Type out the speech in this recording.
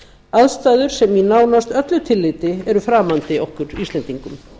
aðstæður sem í nánast öllu tilliti eru framandi okkur íslendingum